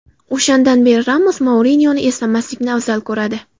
O‘shandan beri Ramos Mourinyoni eslamaslikni afzal ko‘radi.